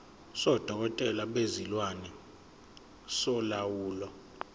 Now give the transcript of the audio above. sodokotela bezilwane solawulo